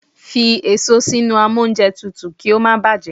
Kó èso sínú amóúnjẹtutù kí ó má báà bàjẹ́!